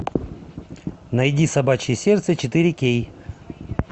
найди собачье сердце четыре кей